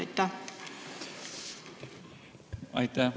Aitäh!